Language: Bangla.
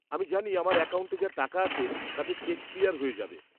-আমি জানি আমার অ্যাকাউন্টে যা টাকা আছে তাতে চেক ক্লিয়ার হয়ে যাবে।